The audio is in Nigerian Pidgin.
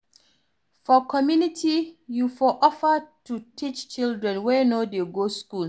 For community you for offer to teach children wey no dey go school